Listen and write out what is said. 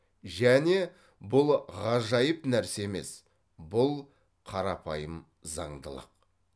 және бұл ғажайып нәрсе емес бұл қарапайым заңдылық